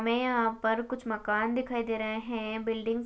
हमें यहाँ पर कुछ मकान दिखाई दे रहे है बिल्डींगस --